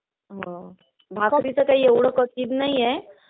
हम्म. भाकरीचं काय एवढं कठीण नाहीये.